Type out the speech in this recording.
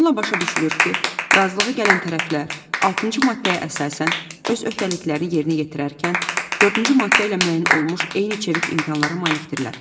Bununla başa düşülür ki, razılığa gələn tərəflər altıncı maddəyə əsasən öz öhdəliklərini yerinə yetirərkən dördüncü maddə ilə müəyyən olmuş eyni çevik imkanlara malikdirlər.